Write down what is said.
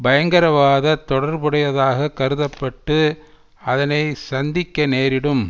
பயங்கரவாதத் தொடர்புடையதாகக் கருத பட்டு அதனை சந்திக்க நேரிடும்